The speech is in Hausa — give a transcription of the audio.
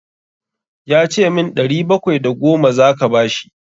Ya ce min ɗari bakwai da goma za ka bashi.